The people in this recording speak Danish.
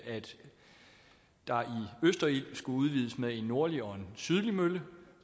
der i østerild skulle udvides med en nordlig og en sydlig mølle